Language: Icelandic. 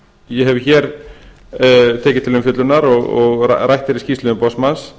ég hef hér tekið til umfjöllunar og rætt er í skýrslu umboðsmanns